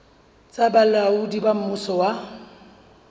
tlasa bolaodi ba mmuso wa